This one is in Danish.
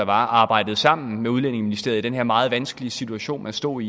arbejdede sammen med udlændingeministeriet i den her meget vanskelige situation man stod